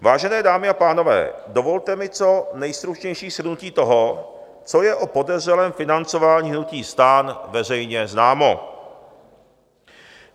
Vážené dámy a pánové, dovolte mi co nejstručnější shrnutí toho, co je o podezřelém financování hnutí STAN veřejně známo.